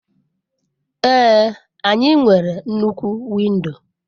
Ee, anyị nwere nnukwu windo.